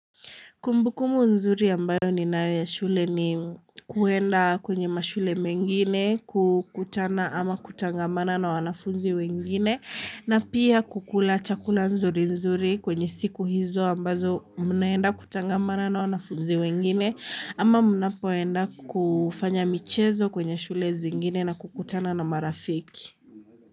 Kumbukumu nzuri ambayo ninayo ya shule ni kuenda kwenye mashule mengine kukutana ama kutangamana na wanafunzi wengine na pia kukula chakula nzuri nzuri kwenye siku hizo ambazo mnaenda kutangamana na wanafunzi wengine ama mnapoenda kufanya michezo kwenye shule zingine na kukutana na marafiki.